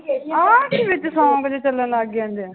ਆਹ ਕੀ ਵਿੱਚ song ਜਿਹੇ ਚੱਲਣ ਲੱਗ ਜਾਂਦੇ ਆ?